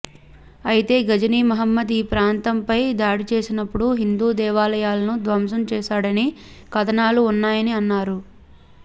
అయితే గజనీ మహ్మద్ ఈ ప్రాంతంపై దాడిచేసినప్పుడు హిందూ దేవాలయాలను ధ్వంసం చేశాడని కథనాలు ఉన్నాయని అన్నారు